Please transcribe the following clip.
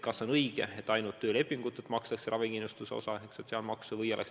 Kas on õige, et ainult töölepingutelt makstakse ravikindlustuse osa, sotsiaalmaksu?